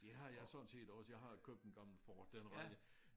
Det har jeg sådan set også jeg har købt en gammel Ford den rækker